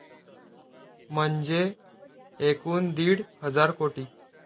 म्हणजे एकूण दीड हजार कोटी.